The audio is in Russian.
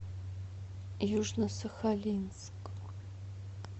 южно сахалинск